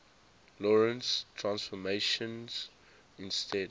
lorentz transformations instead